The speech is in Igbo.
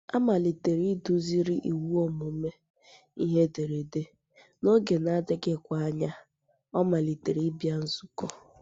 A malitere iduziri ịwụ ọmụmụ ihe ederede, n’oge na - adịghịkwa anya, ọ malitere ịbịa nzukọ.